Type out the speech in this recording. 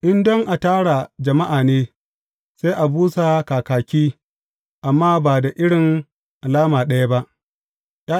In don a tara jama’a ne, sai a busa kakaki, amma ba da irin alama ɗaya ba.